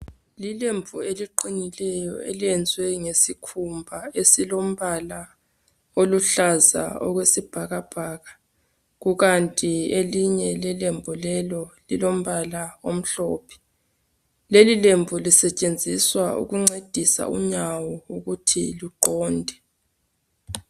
Lilembu eliqinileyo elenziwe ngesikhumba esilombala oluhlaza okwesibhakabhaka, kukanti elinye ilembu lelo lilombala omhlophe lelilembu lisetshenziswa ukuncedisa unyawo ukuthi luqonde.